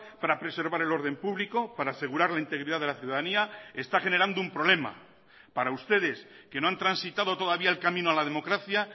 para preservar el orden público para asegurar la integridad de la ciudadanía está generando un problema para ustedes que no han transitado todavía el camino a la democracia